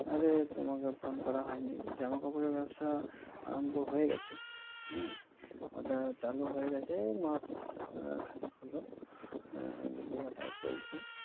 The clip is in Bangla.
আরে তোমাকে phone করা হয়নি, জামা কাপড়ের ব্যবসা আরম্ভ হয়ে গেছে হ্যাঁ ওটা চালু হয়ে গেছে মাসখানেক হলো আহ বিক্রি বাটা চলছে।